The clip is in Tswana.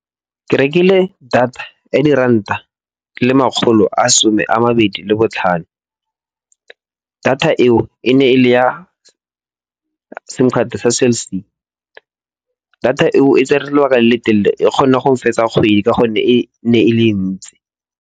Ke rekile data ya diranta le makgolo a some a mabedi le botlhano. Data eo e ne e le ya sim card sa Cell C. Data eo e tsere lebaka le le telele, e kgona go fetsa kgwedi ka gonne e ne e le e ntsi.